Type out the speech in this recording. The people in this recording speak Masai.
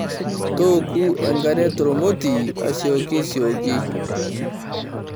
Tooku enkare tormoti asioki sioki.